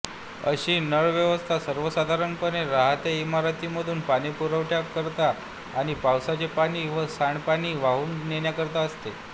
अशी नळव्यवस्था सर्वसाधारणपणे रहात्या इमारतीमधून पाणीपुरवठ्याकरिता आणि पावसाचे पाणी व सांडपाणी वाहून नेण्याकरिता असते